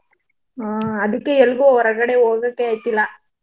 ಹಾ ಅದಿಕ್ಕೆ. ಎಲ್ಗೂ ಹೊರಗಡೆ ಹೋಗಕ್ಕೆ ಆಯ್ತಿಲ್ಲ.